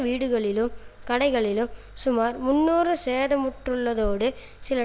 வீடுகளிலும் கடைகளிலும் சுமார் முன்னூறு சேதமுற்றுள்ளதோடு சில